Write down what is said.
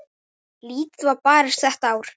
Lítið var barist þetta ár.